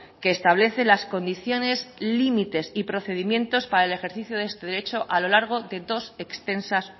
que establece las condiciones límites y procedimientos para el ejercicio de este derecho a lo largo de dos extensas